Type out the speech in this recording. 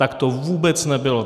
Tak to vůbec nebylo.